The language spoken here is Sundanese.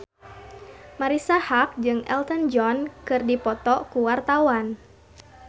Marisa Haque jeung Elton John keur dipoto ku wartawan